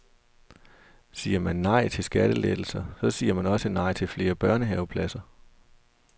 Siger man nej til skattelettelser, så siger man også nej til flere børnehavepladser.